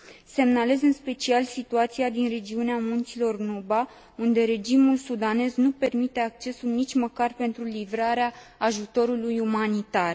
Semnalez în special situația din regiunea munților Nuba, unde regimul sudanez nu permite accesul nici măcar pentru livrarea ajutorului umanitar.